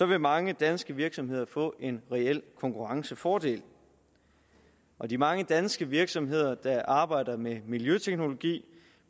være mange danske virksomheder få en reel konkurrencefordel og de mange danske virksomheder der arbejder med miljøteknologi